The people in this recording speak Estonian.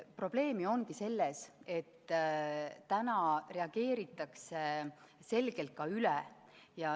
Probleem ju ongi selles, et praegu reageeritakse selgelt üle.